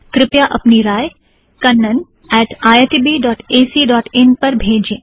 कृपया अपनी राइ Kannan at I I T B dot A C dot in kannaniitbacइन पर भेजें